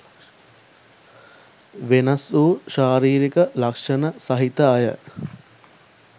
වෙනස්වූ ශාරීරික ලක්ෂණ සහිත අය